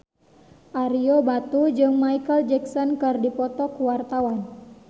Ario Batu jeung Micheal Jackson keur dipoto ku wartawan